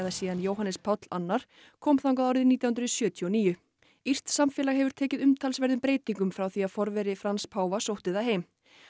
síðan Jóhannes Páll annar kom þangað árið nítján hundruð sjötíu og níu írskt samfélag hefur tekið umtalsverðum breytingum frá því að forveri Frans páfa sótti það heim